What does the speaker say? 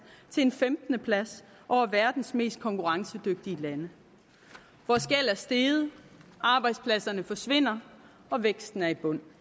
til en femtende plads over verdens mest konkurrencedygtige lande vores gæld er steget arbejdspladserne forsvinder og væksten er i bund